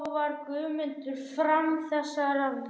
Þá varpaði Guðmundur fram þessari vísu